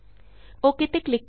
okay ਤੇ click ਕਰੋ